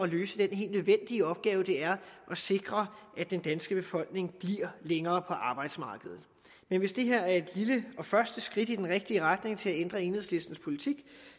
løse den helt nødvendige opgave det er at sikre at den danske befolkning bliver længere på arbejdsmarkedet men hvis det her er et lille og første skridt i den rigtige retning til at ændre enhedslistens politik